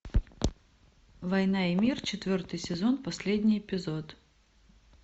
война и мир четвертый сезон последний эпизод